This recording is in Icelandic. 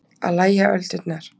Að lægja öldurnar